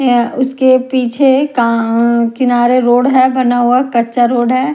है उसके पीछे का किनारे रोड है बना हुआ कच्चा रोड है।